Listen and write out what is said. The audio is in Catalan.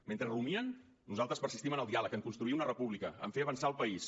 mentre rumien nosaltres persistim en el diàleg en construir una república en fer avançar el país